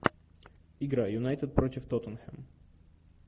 игра юнайтед против тоттенхэм